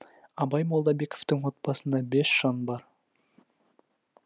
абай молдабековтың отбасында бес жан бар